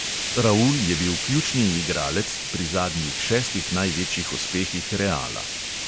Raul je bil ključni igralec, pri zadnjih šestih največjih uspehih reala.